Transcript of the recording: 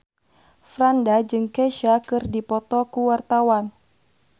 Franda jeung Kesha keur dipoto ku wartawan